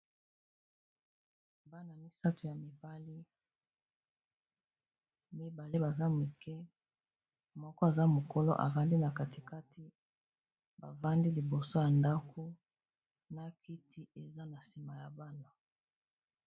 Bana misato ya mibali, mibale baza moke moko aza mokolo avandi na katikati bavandi liboso ya ndako na kiti eza na nsima ya bana.